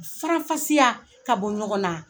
U faranfasiya k'a bɔ ɲɔgɔn na.